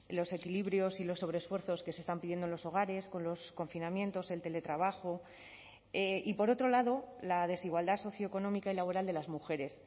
los equilibrios y los sobresfuerzos que se están pidiendo en los hogares con los confinamientos el teletrabajo y por otro lado la desigualdad socioeconómica y laboral de las mujeres